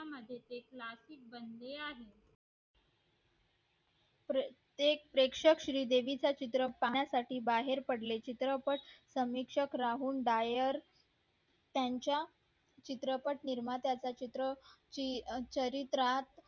प्रत्येक प्रेषक श्री देवी चा चिरत्रपट पाहण्या साठी बाहेर पडले चिरत्रपट समीक्षक राहुल डायर त्याच्या चित्रपट निर्मात्या चा चारित्र्यत